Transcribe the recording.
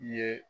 Ye